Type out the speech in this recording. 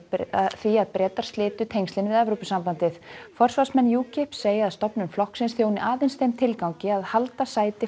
því að Bretar slitu tengslin við Evrópusambandið forsvarsmenn segja að stofnun flokksins þjóni aðeins þeim tilgangi að halda sæti